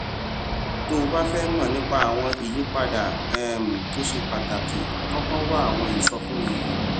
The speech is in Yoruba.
tó o bá fé mò nípa àwọn ìyípadà um tó ṣe pàtàkì kókó wá àwọn ìsọfúnni yìí